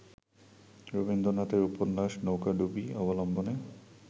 রবীন্দ্রনাথের উপন্যাস ‘নৌকাডুবি’ অবলম্বনে